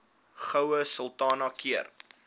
goue sultana keur